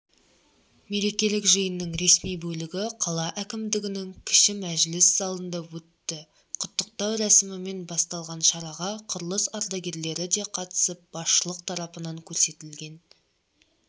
мерекелік жиынның ресми бөлігі қала әкімдігінің кіші мәжіліс залында өтті құттықтау рәсімімен басталған шараға құрылыс ардагерлері де қатысып басшылық тарапынан көрсетілген